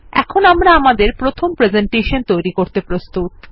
এখন আমরা আমাদের প্রথম প্রেসেন্টেশন তৈরী করতে প্রস্তুত